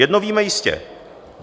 Jedno víme jistě.